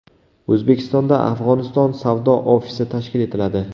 O‘zbekistonda Afg‘oniston savdo ofisi tashkil etiladi.